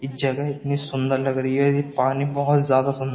ये जगह इतनी सुंदर लग रही है ये पानी बहुत ज्यादा सुंदर --